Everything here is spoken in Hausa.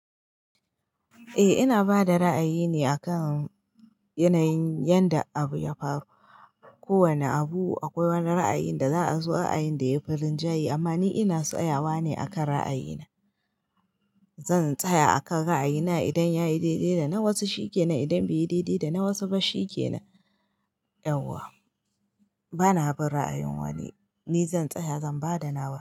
Eh ina bada ra'ayine akan yanayin yadda abu ya faru. Ko wane abu akwai wani ra'ayin da za a zo ra'ayin da yayi farin jaye amma ni ina tsayawa ne akan ra'ayina. Zan tsaya akan ra'ayina idan yayi daidai da na wasu shi ke nan, idan bai yi daidai da na wasu ba shi ke nan. Bana bun ra'ayin wani. Ni zan tsaya zan bada nawa.